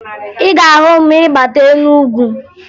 Ị ga-ahụ m ma ị bata Enugu